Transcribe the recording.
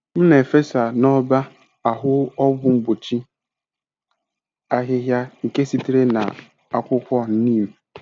M na-efesa n'ọba ahụ ọgwụ mgbochi ahịhịa nke sitere na akwụkwọ neem.